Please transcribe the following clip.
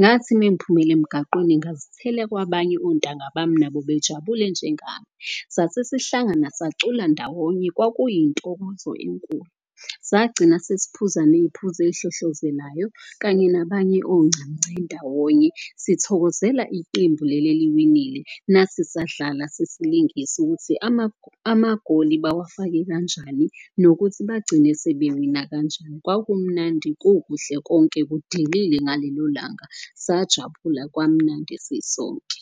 Ngathi mengiphumela emgaqweni ngazithela kwabanye ontanga bami nabo bejabule njengami. Sasesihlangana sacula ndawonye kwakuyintokozo enkulu sagcina sesiphuzani neyiphuzo eyihlohlozelayo. Kanye nabanye oncamunce ndawonye sithokozela iqembu leli eliwinile. Nathi sadlala sesilingisa ukuthi amagoli bawafake kanjani nokuthi bagcine sebe wina kanjani. Kwakumnandi kukuhle konke kudelile ngalelo langa, sajabula kwamnandi sisonke.